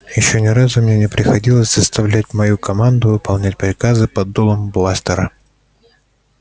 ещё ни разу мне не приходилось заставлять мою команду выполнять приказы под дулом бластера